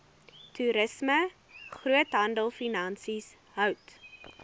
toerisme groothandelfinansies hout